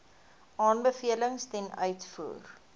aanbevelings ten uitvoer